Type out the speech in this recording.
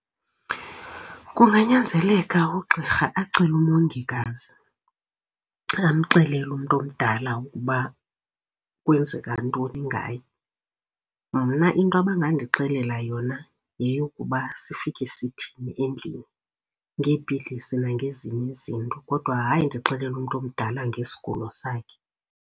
Kunganyanzeleka ugqirha acele umongikazi amxelele umntu omdala ukuba kwenzeka ntoni ngaye. Mna into abangandixelela yona yeyokuba sifike sithini endlini ngeepilisi nangezinye izinto, kodwa hayi ndixelele umntu omdala ngesigulo sakhe.